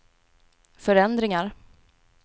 förändringar